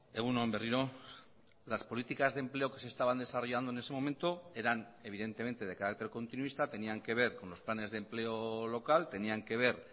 egun on berriro las políticas de empleo que se estaban desarrollando en ese momento eran evidentemente de carácter continuista tenían que ver con los planes de empleo local tenían que ver